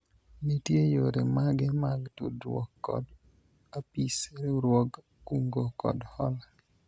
nitie yore mage mag tudruok kod apis riwruog kungo kod hola ?